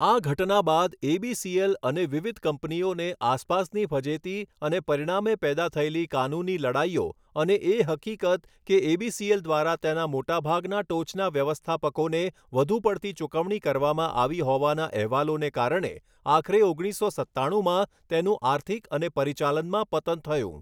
આ ઘટના બાદ એબીસીએલ અને વિવિધ કંપનીઓને આસપાસની ફજેતી અને પરિણામે પેદા થયેલી કાનૂની લડાઈઓ અને એ હકીકત કે એબીસીએલ દ્વારા તેના મોટાભાગના ટોચના વ્યવસ્થાપકોને વધુ પડતી ચુકવણી કરવામાં આવી હોવાના અહેવાલોને કારણે આખરે ઓગણીસો સત્તાણુમાં તેનું આર્થિક અને પરિચાલનમાં પતન થયું.